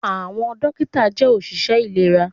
Àwọn dókítà jẹ́ òṣìṣẹ́ ìlera